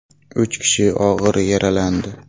Uch kishi og‘ir yaralandi.